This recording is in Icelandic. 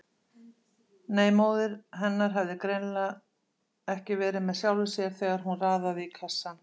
Nei, móðir hennar hafði greinilega ekki verið með sjálfri sér þegar hún raðaði í kassann.